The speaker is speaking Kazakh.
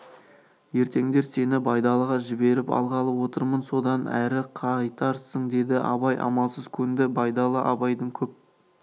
ертеңдер сені байдалыға жіберіп алғалы отырмын содан әрі қайтарсың деді абай амалсыз көнді байдалы абайдың көп